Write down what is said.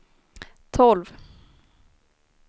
tolv